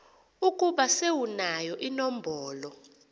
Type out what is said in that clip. ukuba sewunayo inombolo